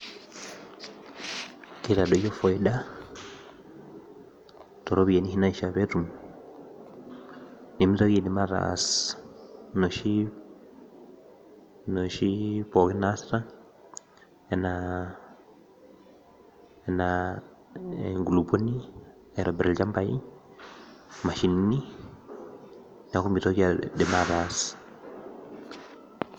Kitadoyio faida toropiyiani naishaa petum nimitoki aidim ataas noshi pookin naasita, enaa enkulupuoni, aitobir ilchambai, mashinini, neeku mitoki aidim ataas.